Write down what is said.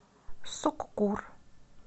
суккур